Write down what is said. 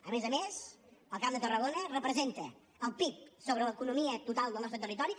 a més a més el camp de tarragona representa al pib sobre l’economia total del nostre territori